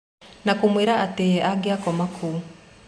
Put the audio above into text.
Na kũmwĩra atĩ ye angia komaga kũu.